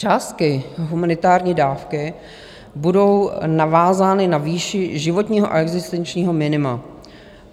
Částky humanitární dávky budou navázány na výši životního a existenčního minima.